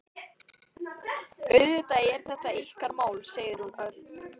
Auðvitað er þetta ykkar mál, segir hún örg.